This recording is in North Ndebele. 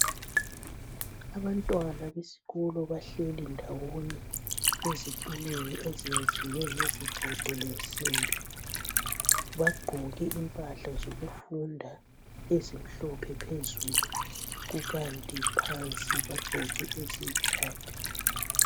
Abantwana besikolo bahleli ndawonye ezitulweni ezenziweyo ngesigodo lemsimbi. Bagqoke impahla zokufunda ezimhlophe phezulu kukanti phansi bagqoke eziyikhakhi.